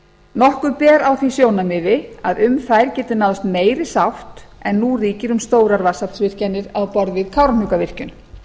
nokkuð ber á því sjónarmiði að um þær geti náðst meiri sátt en nú ríkir um stórar vatnsaflsvirkjanir á borð við kárahnjúkavirkjun